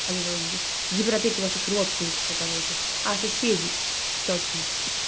вот европеки ваших родственников оказывается а соседей точно